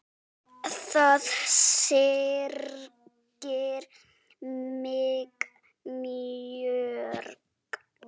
Það syrgir mig mjög.